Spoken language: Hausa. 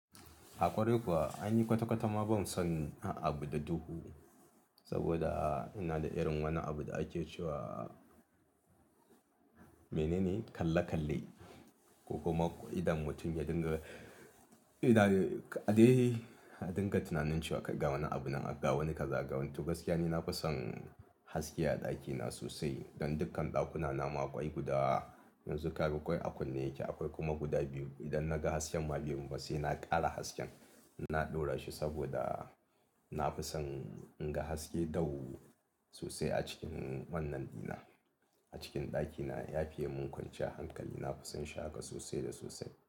Haƙori kuwa an yi kwata-kwata ma ban son abun da duhu saboda ina da irin wani abu da ake cewa mene ne kalle-kalle ko kuma idan mutum ya dinga, idan a dai a dinga tunanin cewa kai ga wani abu nan, a ga wani kaza, ga wani tu. Gaskiya ne na fi son haske a ɗakina sosai don dukkan ɗakuna nama akwai guda yanzu ka bi, akwai a kunne yake, akwai kuma guda biyu. Idan na ga hasken ma biyun ba sai na ƙara hasken, na ɗora shi saboda na fi son in ga haske da wuri sosai a cikin wannan ɗina. A cikin ɗakina ya fiya mun kwance a hankali, na fi son shaƙa sosai da sosai.